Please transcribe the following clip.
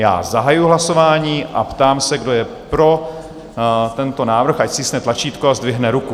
Já zahajuji hlasování a ptám se, kdo je pro tento návrh, ať stiskne tlačítko a zdvihne ruku.